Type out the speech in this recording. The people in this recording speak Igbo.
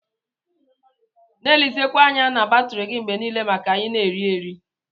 Na elizikwa anya na batri gi mgbe nile maka ina eri-eri.